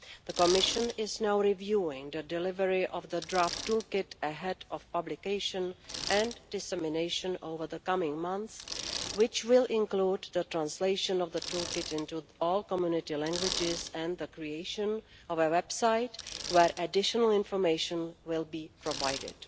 The Commission is now reviewing the delivery of the draft toolkit ahead of publication and dissemination over the coming months. This will include the translation of the toolkit into all Community languages and the creation of a website where additional information will be provided.